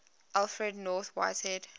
alfred north whitehead